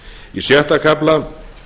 í sjötta kafla